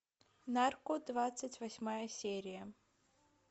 нарко двадцать восьмая серия